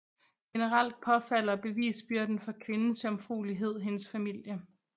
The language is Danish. Generelt påfalder bevisbyrden for kvindens jomfruelighed hendes familie